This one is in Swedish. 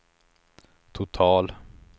total